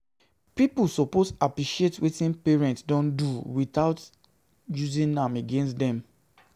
Pipo suppose appreciate wetin parents don do without using am against dem.